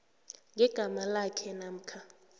ngegama lakhe namkha